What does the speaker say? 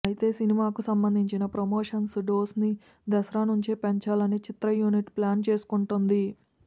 అయితే సినిమాకు సంబందించిన ప్రమోషన్స్ డోస్ ని దసరా నుంచే పెంచాలని చిత్ర యూనిట్ ప్లాన్ చేసుకుంటోంది